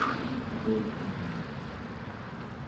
чудовищная ночь